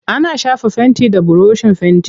Ana shafa fenti da burushin fenti.